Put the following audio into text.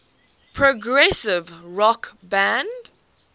progressive rock band